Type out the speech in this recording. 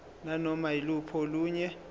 nanoma yiluphi olunye